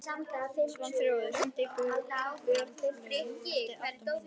Svanþrúður, hringdu í Björnlaugu eftir áttatíu mínútur.